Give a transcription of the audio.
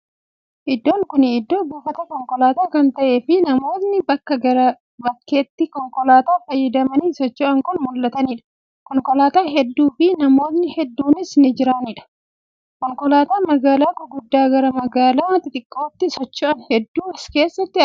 Iddoon kuni iddoo buufata konkolaataa kan ta'ee fii namootni bakka gara bakkaatti konkolaataa fayyadamanii socho'an kan mul'ataniidha. Konkolaataa hedduu fii namootni hedduunis kan jiraniidha. Konkolataa magaalaa gurguddaa gara magaalaa xixiqqootti socho'an hedduun as keessatti argamu.